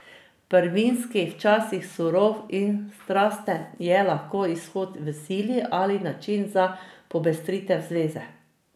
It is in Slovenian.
Prvinski, včasih surov in strasten je lahko izhod v sili ali način za popestritev zveze.